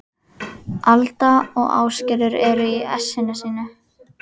Alda og Ásgerður eru í essinu sínu.